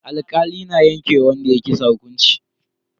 Alkali na yanke wa wanda ya yi kisa hukunci.